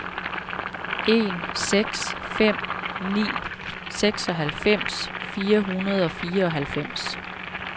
en seks fem ni seksoghalvfems fire hundrede og fireoghalvfems